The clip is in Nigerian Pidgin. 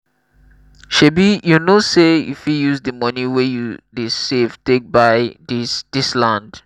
shebi you know sey you fit use di money wey you dey save take buy dis dis land?